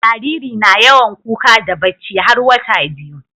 Jariri na yawan kuka da bacci har wata biyu